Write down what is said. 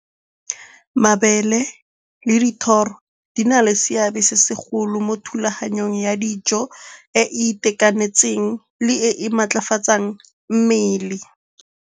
Mabele le dithoro di na le seabe se segolo mo thulaganyong ya dijo e e itekanetseng, le e e maatlafatsang mmele.